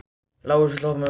Lárus, viltu hoppa með mér?